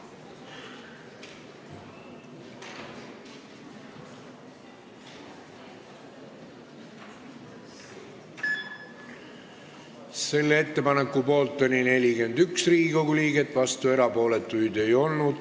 Hääletustulemused Selle ettepaneku poolt oli 41 Riigikogu liiget, vastuolijaid ega erapooletuid ei olnud.